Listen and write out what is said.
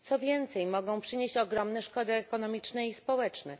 Co więcej, mogą przynieść ogromne szkody ekonomiczne i społeczne.